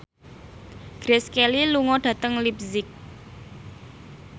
Grace Kelly lunga dhateng leipzig